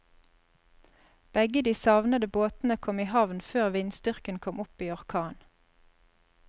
Begge de savnede båtene kom i havn før vindstyrken kom opp i orkan.